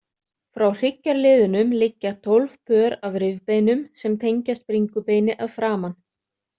Frá hryggjarliðunum liggja tólf pör af rifbeinum sem tengjast bringubeini að framan.